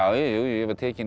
jú ég var tekinn í